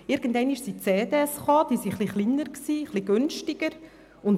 Irgendwann sind CDs aufgekommen, die viel kleiner und ein bisschen günstiger waren.